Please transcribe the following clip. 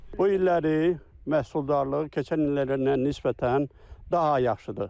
Bu illəri məhsuldarlığı keçən illərdən nisbətən daha yaxşıdır.